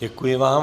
Děkuji vám.